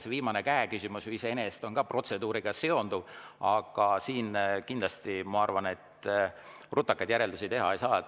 See viimane käeküsimus on ju iseenesest ka protseduuriga seonduv, aga siin kindlasti, ma arvan, rutakaid järeldusi teha ei saa.